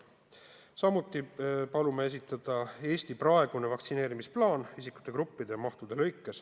Samuti palume esitada Eesti praegune vaktsineerimisplaan isikurühmade ja mahtude kaupa.